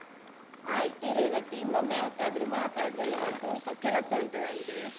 ಆಯ್ತು ರೇವತಿ ಇನ್ನೊಮ್ಮೆ ಯಾವತ್ತಾದ್ರೂ ಮಾತಾಡುವ, ಇವತು ಸ್ವಲ್ಪ ಕೆಲಸ ಉಂಟು ನನ್ಗೆ.